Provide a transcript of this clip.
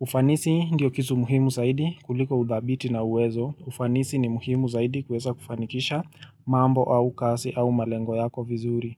Ufanisi ndio kitu muhimu saidi kuliko udhabiti na uwezo. Ufanisi ni muhimu zaidi kuweza kufanikisha mambo au kasi au malengo yako vizuri.